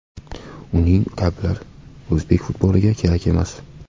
Uning kabilar o‘zbek futboliga kerak emas.